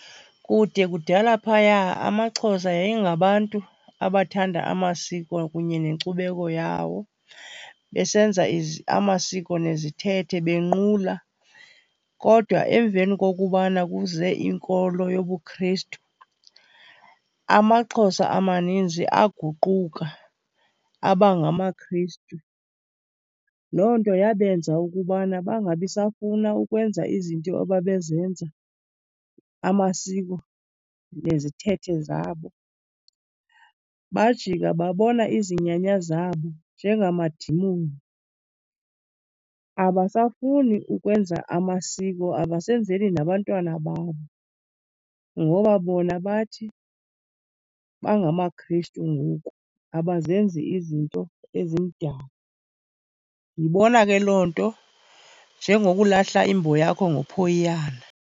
Kude kudala phaya amaXhosa yayingabantu abathanda amasiko kunye nenkcubeko yawo besenza amasiko nezithethe benqula kodwa emveni kokubana kuze inkolo yobuKrestu amaXhosa amaninzi aguquka abangamaKrestu. Loo nto yabenza ukubana bangabi safuna ukwenza izinto ababezenza amasiko nezithethe zabo. Bajika babona izinyanya zabo njengamadimoni, abasafuni ukwenza amasiko abasenzeli nabantwana babo ngoba bona bathi bangamaKrestu ngoku, abazenzi izinto ezimdaka. Ndiyibona ke loo nto njengokulahla imbo yakho ngophoyiyana.